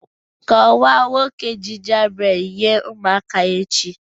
Kọwaa 'Nwoke Gingerbread' nye ụmụaka echi